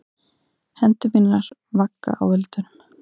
Hendur mínar vagga á öldunum.